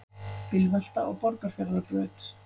Bílvelta á Borgarfjarðarbraut